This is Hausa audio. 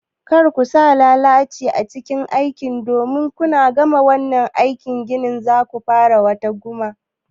Kar ku sa lalaci a cikin aikin ku domin kuna gama wannan aikin gini zaku fara wata kuma